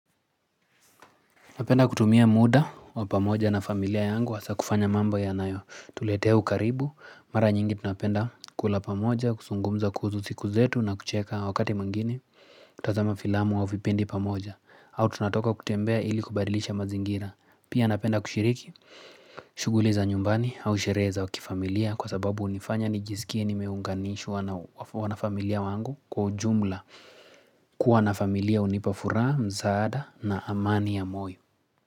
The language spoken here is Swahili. Napenda kutumia muda wa pamoja na familia yangu hasa kufanya mambo yanayotuletea ukaribu. Mara nyingi tunapenda kula pamoja, kuzungumza kuhusu siku zetu na kucheka wakati mwingine. Tazama filamu wa vipindi pamoja. Au tunatoka kutembea ili kubadilisha mazingira. Pia napenda kushiriki, shughuli za nyumbani au sherehe za kifamilia kwa sababu hunifanya nijisikie nimeunganishwa na wanafamilia wangu kwa ujumla. Kuwa na familia hunipa furaha, msaada na amani ya moyo.